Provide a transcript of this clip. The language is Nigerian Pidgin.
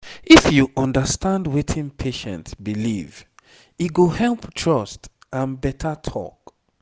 if you understand wetin patient believe e go help trust and better talk